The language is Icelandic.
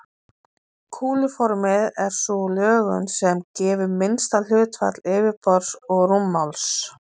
Kúluformið er sú lögun sem gefur minnsta hlutfall yfirborðs og rúmmáls.